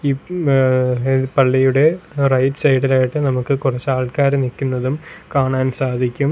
ഈ ഏ പള്ളിയുടെ റൈറ്റ് സൈഡ് ഇലായിട്ട് നമുക്ക് കുറച്ച് ആൾക്കാര് നിക്കുന്നതും കാണാൻ സാധിക്കും.